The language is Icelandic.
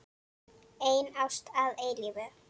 Ein ást að eilífu.